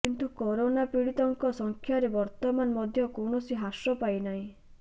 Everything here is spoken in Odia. କିନ୍ତୁ କରୋନା ପିଡିତଙ୍କ ସଂଖ୍ୟାରେ ବର୍ତ୍ତମାନ ମଧ୍ୟ କୌଣସି ହ୍ରାସ ପାଇନାହିଁ